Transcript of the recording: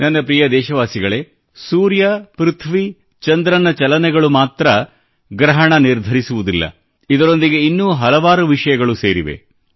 ನನ್ನ ಪ್ರಿಯ ದೇಶವಾಸಿಗಳೇ ಸೂರ್ಯ ಪ್ರಥ್ವಿ ಚಂದ್ರನ ಚಲನೆಗಳು ಮಾತ್ರ ಗ್ರಹಣ ನಿರ್ಧರಿಸುವುದಿಲ್ಲ ಇದರೊಂದಿಗೆ ಇನ್ನೂ ಹಲವಾರು ವಿಷಯಗಳು ಸೇರಿವೆ